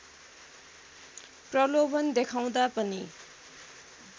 प्रलोभन देखाउँदा पनि